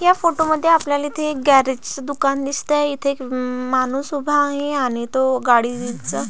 या फोटो मध्ये आपल्याला इथे एक गॅरेज दुकान दिसतय इथे एक म माणुस उभा आहे आणि तो गाडीच--